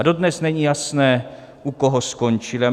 A dodnes není jasné, u koho skončily.